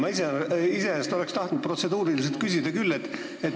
Ma iseenesest oleksin tahtnud protseduuriliselt küsida küll.